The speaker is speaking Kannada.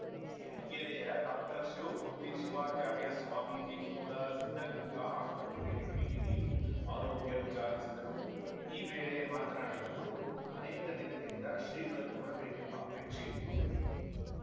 ಸಿರಿಗೆರೆಯ ಡಾಕ್ಟರ್ಶಿವಮೂರ್ತಿ ಶಿವಾಚಾರ್ಯ ಸ್ವಾಮೀಜಿ ಕೂಡ ಸಿದ್ಧಗಂಗಾ ಆಸ್ಪತ್ರೆಗೆ ಭೇಟಿ ನೀಡಿ ಆರೋಗ್ಯ ವಿಚಾರಿಸಿದರು ಈ ವೇಳೆ ಮಾತನಾಡಿದ ಅವರು ಅನೇಕ ದಿನದಿಂದ ಶ್ರೀಗಳನ್ನು ನೋಡಬೇಕೆಂಬ ಆಪೇಕ್ಷೆಯಿತ್ತು